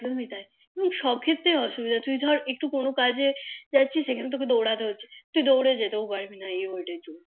একদমী তাই শখে তে অসুবিধা তুই ধর একটু কোনো কাজে যাচ্ছি সেখানে তোকে দোড়াতে হচ্ছে তুই দোড়ে যেতেও পারবি না এই ওটার জন্য